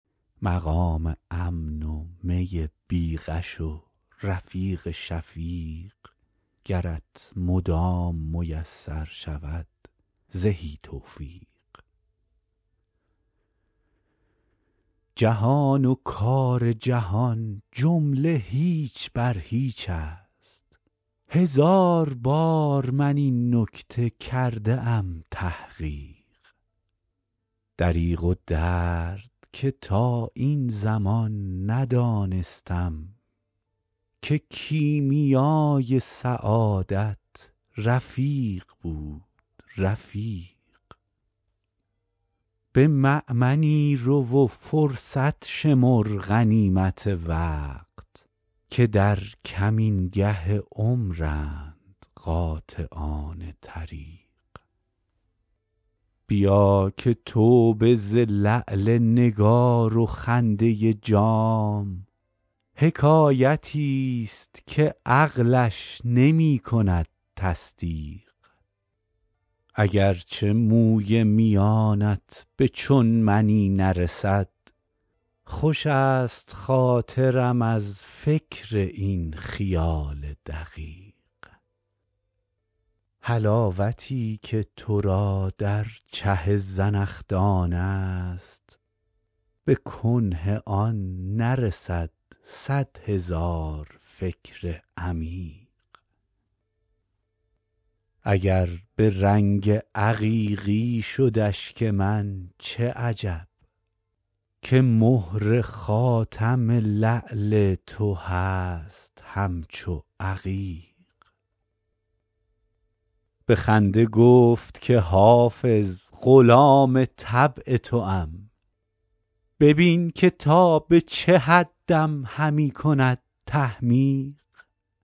مقام امن و می بی غش و رفیق شفیق گرت مدام میسر شود زهی توفیق جهان و کار جهان جمله هیچ بر هیچ است هزار بار من این نکته کرده ام تحقیق دریغ و درد که تا این زمان ندانستم که کیمیای سعادت رفیق بود رفیق به مأمنی رو و فرصت شمر غنیمت وقت که در کمینگه عمرند قاطعان طریق بیا که توبه ز لعل نگار و خنده جام حکایتی ست که عقلش نمی کند تصدیق اگر چه موی میانت به چون منی نرسد خوش است خاطرم از فکر این خیال دقیق حلاوتی که تو را در چه زنخدان است به کنه آن نرسد صد هزار فکر عمیق اگر به رنگ عقیقی شد اشک من چه عجب که مهر خاتم لعل تو هست همچو عقیق به خنده گفت که حافظ غلام طبع توام ببین که تا به چه حدم همی کند تحمیق